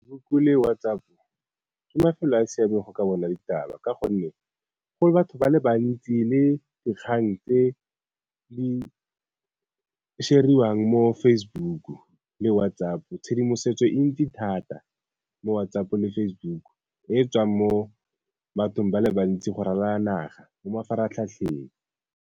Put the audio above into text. le WhatsApp ke mafelo a a siameng go ka bona ditaba, ka gonne go batho ba le bantsi le dikgang tse di share-riwang mo Facebook le WhatsApp. Tshedimosetso e ntsi thata mo WhatsApp le Facebook e e tswang mo bathong ba le bantsi go ralala naga mo mafaratlhatlheng.